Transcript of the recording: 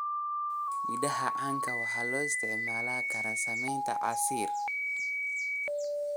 Midhaha canabka waxaa loo isticmaali karaa sameynta casiir.